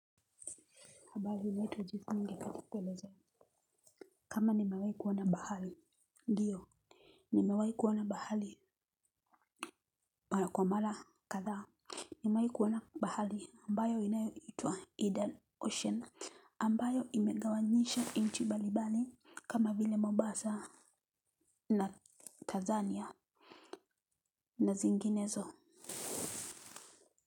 Kama nimewai kuwona bahali. Ndiyo. Nimewai kuwona bahali. Kwa mala kadha nimewai kuwona bahali. Ambayo inayo itua Eden Ocean. Ambayo imegawanyisha nchi mbalimbali kama vile Mombasa na Tanzania na zinginezo.